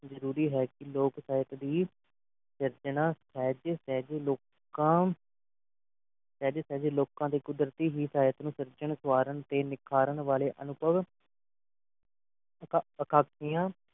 ਜ਼ਰੂਰੀ ਹੈ ਕਿ ਲੋਕ ਸਾਹਿਤ ਦੀ ਸਿਰਜਣਾ ਸਹਿਜ ਸਹਿਜ ਲੋਕਾਂ ਸਹਿਜ ਸਹਿਜ ਲੋਕਾਂ ਦੇ ਕੁਦਰਤੀ ਹੀ ਸ਼ਰੀਤ ਨੂੰ ਸਿਰਜਣ ਸੰਵਾਰਣ ਤੇ ਨਿਖਾਰਨ ਵਾਲੇ ਅਨੁਭਵ ਅਥਾਹ ਅਕਾਂਖਿਆ